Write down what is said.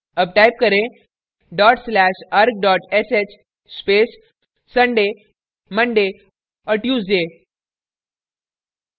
arg type करें dot slash arg sh space sunday monday और tuesday